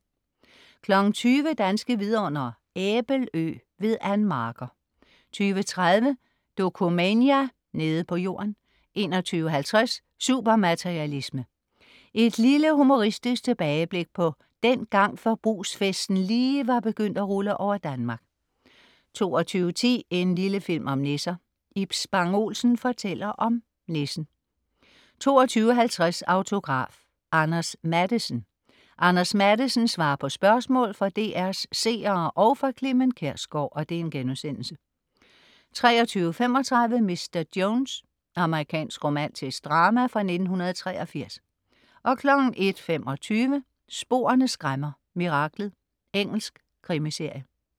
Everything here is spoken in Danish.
20.00 Danske Vidundere: Æbelø. Ann Marker 20.30 Dokumania: Nede på jorden 21.50 Supermaterialisme. Et humoristisk tilbageblik på dengang forbrugsfesten lige var begyndt at rulle over Danmark 22.10 En lille film om nisser. Ib Spang Olsen fortæller om nissen 22.50 Autograf: Anders Matthesen. Anders Matthesen svarer på spørgsmål fra DR's seere og fra Clement Kjersgaard* 23.35 Mr. Jones. Amerikansk romantisk drama fra 1983 01.25 Sporene skræmmer: Miraklet. Engelsk krimiserie